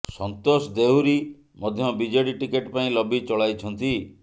ସନ୍ତୋଷ ଦେହୁରୀ ମଧ୍ୟ BJD ticket ପାଇଁ lobby ଚଳାଇଛନ୍ତି